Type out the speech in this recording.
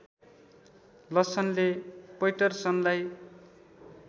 लसनले पैटरसनलाई